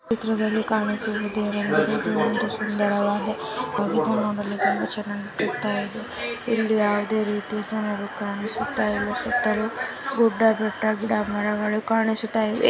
ಚಿತ್ರದಲ್ಲಿ ಕಾಣಿಸುವುದೇನೆಂದರೆ ಇದು ಒಂದು ಸುಂದರವಾದ ಚಿತ್ರವಾಗಿದೆ ನೋಡಲು ತುಂಬಾ ಚೆನ್ನಾಗಿದೆ ಇಲ್ಲಿ ಯಾವುದೇ ರೀತಿಯ ಗುಡ್ಡ ಬೆಟ್ಟ ಕಾಣಿಸುತ್ತಿದೆ ಏ--